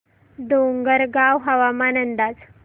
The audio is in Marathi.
डोंगरगाव हवामान अंदाज